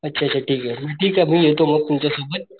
अच्छा अच्छा ठीके म ठीके मी येतो मग तुमच्या सोबत.